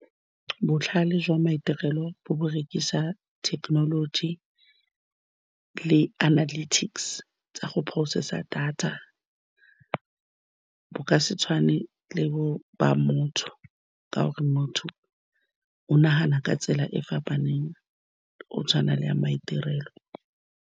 Botlhale jwa maitirelo bo berekisa thekenoloji le analytics tsa go process-a data, bo ka se tshwane le bo, ba motho, ka gore motho o nagana ka tsela e e fapaneng, o tshwana le ya maitirelo.